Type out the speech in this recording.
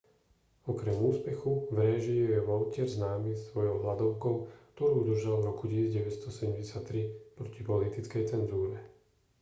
okrem úspechu v réžii je vautier známy svojou hladovkou ktorú držal v roku 1973 proti politickej cenzúre